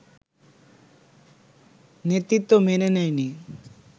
নেতৃত্ব মেনে নেয়নি